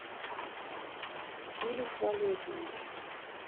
филюс валерьевич